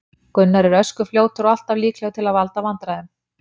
Gunnar er ösku fljótur og alltaf líklegur til að valda vandræðum.